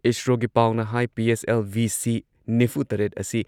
ꯏꯁꯔꯣꯒꯤ ꯄꯥꯎꯅ ꯍꯥꯏ ꯄꯤ.ꯑꯦꯁ.ꯑꯦꯜ.ꯚꯤꯁꯤ ꯅꯤꯐꯨꯇꯔꯦꯠ ꯑꯁꯤ